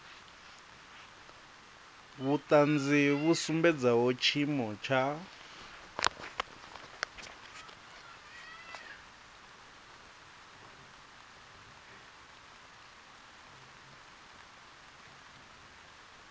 vhuṱanzi vhu sumbedzaho tshiimo tsha